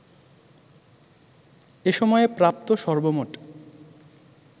এ সময়ে প্রাপ্ত সর্বমোট